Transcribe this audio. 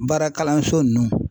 Baara kalanso nunnu